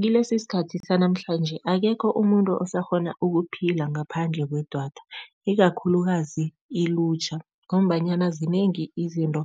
Kilesi isikhathi sanamhlanje akekho umuntu osakghona ukuphila ngaphandle kwedwatha, ikakhulukazi ilutjha ngombanyana zinengi izinto